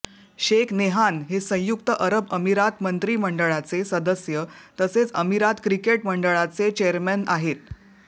Shaikh Nahyan हे संयुक्त अरब अमिरात मंत्रीमंडळाचे सदस्य तसेच अमिरात क्रिकेट मंडळाचे चेअरमन आहेत